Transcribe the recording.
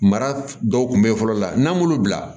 Mara dɔw kun bɛ ye fɔlɔ la n'an b'olu bila